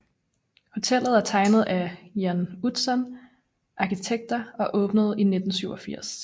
Hotellet er tegnet af Jan Utzon Arkitekter og åbnede i 1987